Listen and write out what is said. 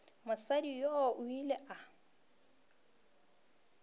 mosadi yoo o ile a